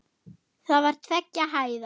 Það var tveggja hæða.